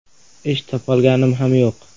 Ish topolganim ham yo‘q.